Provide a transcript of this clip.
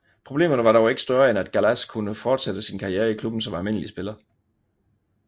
Problemerne var dog ikke større end at Gallas kunne fortsætte sin karriere i klubben som almindelig spiller